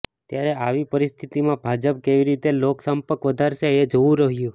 ત્યારે આવી પરિસ્થિતિમાં ભાજપ કેવી રીતે લોક સંપર્ક વધારશે એ જોવું રહ્યું